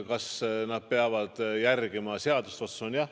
Kas nad peavad järgima seadust?